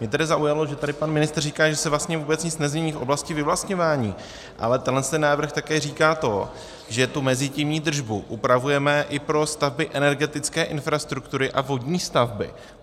Mě tedy zaujalo, že tady pan ministr říká, že se vlastně vůbec nic nezmění v oblasti vyvlastňování, ale tenhle návrh také říká to, že tu mezitimní držbu upravujeme i pro stavby energetické infrastruktury a vodní stavby.